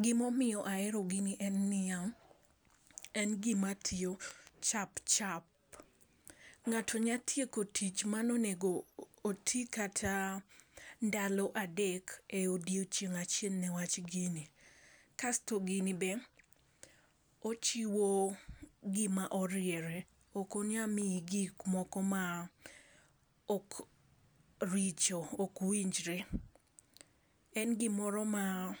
Gimomiyo ahero gini en niya: en gima tiyo chapchap. Ng'ato nya tieko tich manonego tii kata ndalo adek e odiechieng' achiel newach gini. Kasto gini be ochiwo gima oriere, ok onya miyi gik moko ma ok richo ok winjre. En gimoro ma